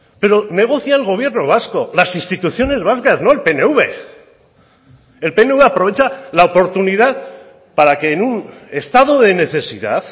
pero negocia el gobierno vasco las instituciones vascas no el pnv el pnv aprovecha la oportunidad para que en un estado de necesidad